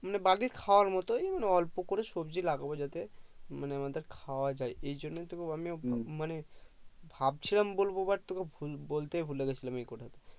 বাড়ির খাওয়ার মতই মানে অল্প করে সবজি লাগাবো যাতে মানে আমাদের খাওয়া যাই এইজন্য তোকে আমি মানে ভাবছিলাম বলবো But তোকে বলতে ভুলে গেছিলাম এই কথা